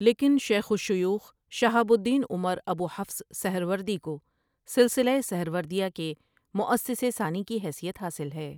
لیکن شیخ الشیوخ شہاب الدین عمر ابو حفص سہروردی کو سلسلۂ سہروردیہ کے مؤسسِ ثانی کی حیثیت حاصل ہے ۔